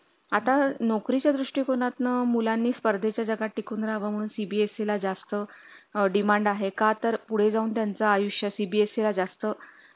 आता नोकरी च्या दृष्टीकोणातून मुलांनी स्पर्धे च्या जगात टिकून राहा वा म्हणून CBSE जास्त demand आहे का तर पुढे जाऊन त्यांचं आयुष्य CBSE ला जास्त